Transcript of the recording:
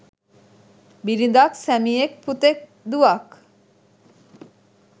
බිරිඳක්, සැමියෙක්, පුතෙක්, දුවක්,